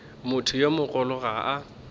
motho yo mogolo ga a